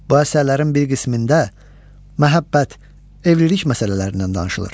Bu əsərlərin bir qismində məhəbbət, evlilik məsələlərindən danışılır.